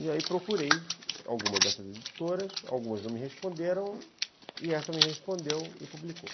E aí procurei algumas dessas editoras, algumas não me responderam, e essa me respondeu e publicou.